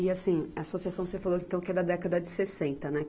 E assim, a associação você falou então que é da década de sessenta, né?